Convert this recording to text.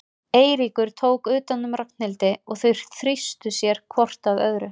Eiríkur tók utan um Ragnhildi og þau þrýstu sér hvort að öðru.